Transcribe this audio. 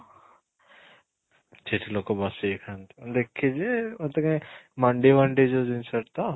ସେଇଠି ଲୋକ ବସିକି ଖାଆନ୍ତି ଦେଖିଛି ଯେ ମୋତେ କାଇଁ ମାଣ୍ଡି ମାଣ୍ଡି ଯୋଉ ଜିନିଷ ଟା ତ